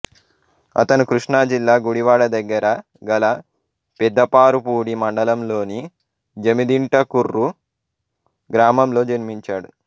అతను కృష్ణా జిల్లా గుడివాడ దగ్గర గల పెదపారుపూడి మండలంలోని జమిదింటకుర్రు గ్రామంలో జన్మించాడు